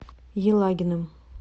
елагиным